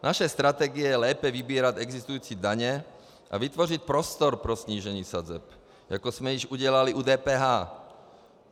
Naše strategie je lépe vybírat existující daně a vytvořit prostor pro snížení sazeb, jako jsme již udělali u DPH.